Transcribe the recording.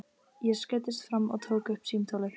Ég skreiddist fram og tók upp símtólið.